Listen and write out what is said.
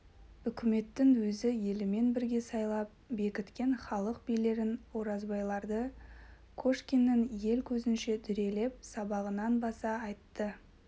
үкметтің өз елімен бірге сайлап бекіткен халық билерін оразбайларды кошкиннің ел көзінше дүрелеп сабағанын баса айтты